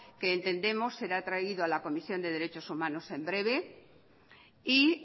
que entendemos será traído a la comisión de derechos humanos en breve y